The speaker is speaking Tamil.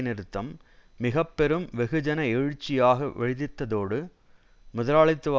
நிறுத்தம் மிக பெரும் வெகுஜன எழுச்சியாக வெடித்ததோடு முதலாளித்துவ